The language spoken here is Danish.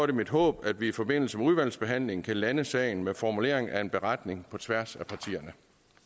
det mit håb at vi i forbindelse med udvalgsbehandlingen kan lande sagen med formulering af en beretning på tværs af partierne